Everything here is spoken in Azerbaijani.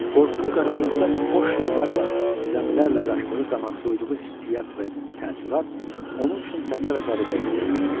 Qorxulu qaranlıqda boş yollarla, zəmilərlə qaçdığı zaman duyduğu hissiyat və təəssürat onun üçün təzə və qəribə idi.